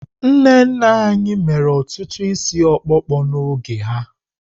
Nne nne anyị mere ọtụtụ isi okpokpo n'oge ha.